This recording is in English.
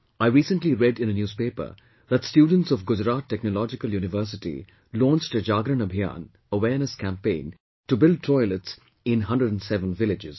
I recently read in a newspaper that students of Gujarat Technological University launched a Jagran Abhiyan Awereness Campaign to build toilets in 107 villages